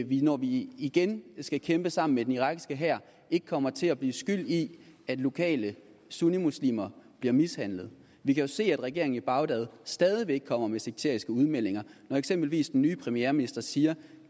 vi når vi igen skal kæmpe sammen med den irakiske hær ikke kommer til at blive skyld i at lokale sunnimuslimer bliver mishandlet vi kan jo se at regeringen i bagdad stadig væk kommer med sekteriske udmeldinger når eksempelvis den nye premierminister siger